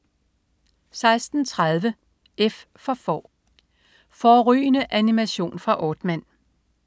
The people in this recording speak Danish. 16.30 F for Får. Fårrygende animation fra Aardman